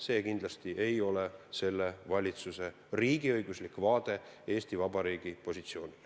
See kindlasti ei ole selle valitsuse riigiõiguslik vaade Eesti Vabariigi positsioonile.